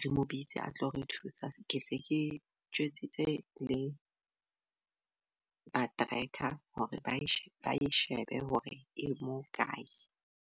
re mo bitse a tlo re thusa. Ke se ke tjwetsitse le ba tracker hore bae shebe hore e mo kae.